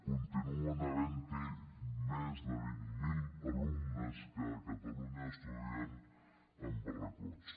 continuen havent hi més de vint mil alumnes que a catalunya estudien en barracots